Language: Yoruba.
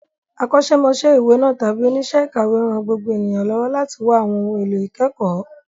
Akọ́ṣẹ́mọṣẹ́ ìwé náà, tàbí oníṣẹ́ ìkàwé, ń ran gbogbo ènìyàn lọ́wọ́ láti wá àwọn ohun èlò ìkẹ́kọ̀ọ́.